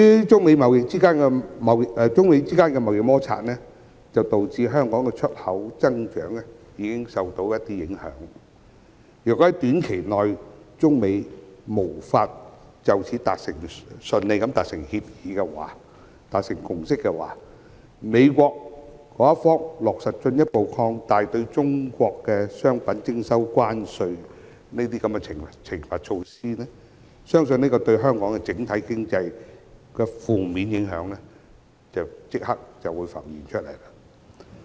中美之間的貿易摩擦已經導致香港的出口增長受到影響，如果中美在短期內無法順利達成協議和共識，美國將落實進一步擴大對中國商品徵收關稅的懲罰措施，對香港整體經濟的負面影響相信會立刻浮現。